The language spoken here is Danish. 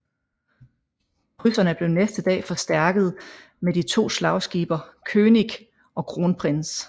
Krydserne blev næste dag forstærket med de to slagskibe König og Kronprinz